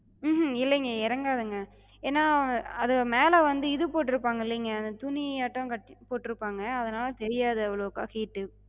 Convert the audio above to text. உம் ஹம் இல்லிங்க எறங்காதுங்க. ஏனா அது மேல வந்து இது போட்டிருப்பாங்கல்லிங்க, அந்தத் துணியாட்டம் கட்டி போட்டுருப்பாங்க, அதனால தெரியாது அவ்ளோக்கா heat.